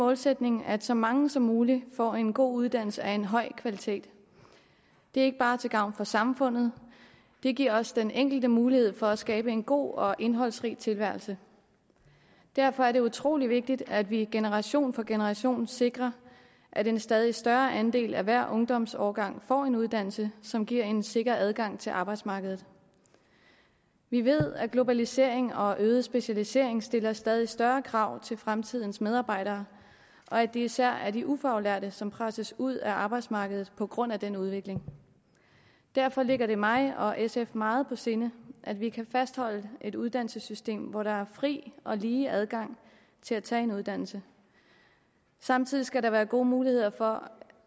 målsætning at så mange som muligt får en god uddannelse af en høj kvalitet det er ikke bare til gavn for samfundet det giver også den enkelte mulighed for at skabe en god og indholdsrig tilværelse derfor er det utrolig vigtigt at vi generation for generation sikrer at en stadig større andel af hver ungdomsårgang får en uddannelse som giver en sikker adgang til arbejdsmarkedet vi ved at globalisering og øget specialisering stiller stadig større krav til fremtidens medarbejdere og at det især er de ufaglærte som presses ud af arbejdsmarkedet på grund af den udvikling derfor ligger det mig og sf meget på sinde at vi kan fastholde et uddannelsessystem hvor der er fri og lige adgang til at tage en uddannelse samtidig skal der være gode muligheder for